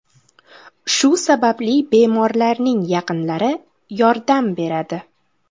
Shu sababli bemorlarning yaqinlari yordam beradi.